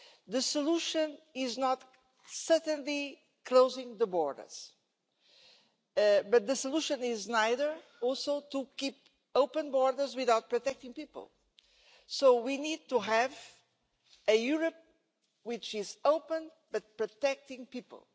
The solution is certainly not closing the borders, but neither is the solution to keep open borders without protecting people. We need to have a Europe which is open but protecting people.